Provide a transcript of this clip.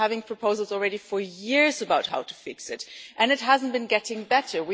We have been making proposals for years about how to fix it and it hasn't been getting better.